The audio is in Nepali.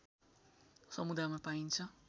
समुदायमा पाइन्छ